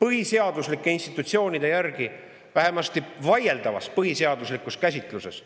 põhiseaduslike institutsioonide järgi vähemasti vaieldavas põhiseaduslikus käsitluses …